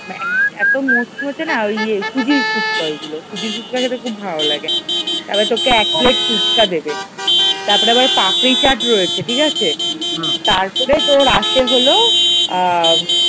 এত মুচমুচে না মানে ওই সুজির ফুচকা ওইগুলো, সুজির ফুচকা খেতে খুব ভালো লাগে তারপর তোকে এক প্লেট ফুচকা দেবে তারপরে আবার পাপরি চাট রয়েছে ঠিক আছে তারপরে তোর আসে হল। আ